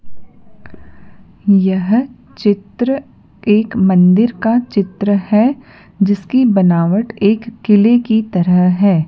यह चित्र एक मंदिर का चित्र है जिसकी बनावट एक किले की तरह है।